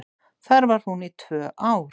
Þar var hún í tvö ár.